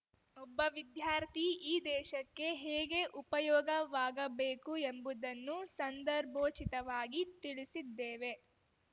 ಒಬ್ಬ ವಿದ್ಯಾರ್ಥಿ ಈ ದೇಶಕ್ಕೆ ಹೇಗೆ ಉಪಯೋಗವಾಗಬೇಕು ಎಂಬುದನ್ನು ಸಂದರ್ಭೋಚಿತವಾಗಿ ತಿಳಿಸಿದ್ದೇವೆ